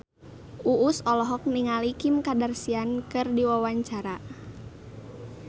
Uus olohok ningali Kim Kardashian keur diwawancara